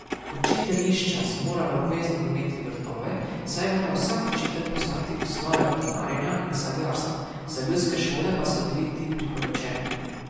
Učiteljišča so morala obvezno imeti vrtove, saj je moral vsak učitelj poznati osnove vrtnarjenja in sadjarstva, za ljudske šole pa so bili ti priporočeni.